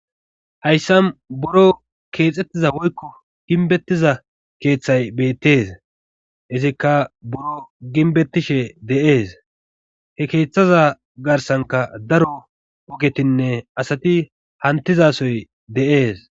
hayssa buro keexxettiza woykko ginbettiza keeththay beettes izikka buro ginbettishe de7ees he keeththaza garsanka daro ogetinne asati hantizasoy de7ees